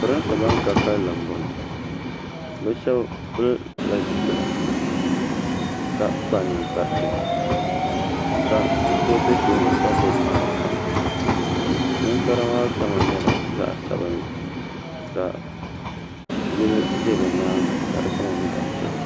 pɛrinsi bani ka kalinli n bɔŋɔ be shɛbi pɛla zipɛla ka kpa nɛkparitɛ ka so bɛ tuuni ka gbabi mariƒɔ nɛkpara maa kama nyɛla zaɣ' sabinli ka yili ʒɛ bɛ nyɛŋa ka di kama nyɛ zaɣ' piɛli